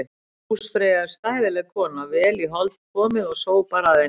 Húsfreyja er stæðileg kona, vel í hold komið og sópar að henni.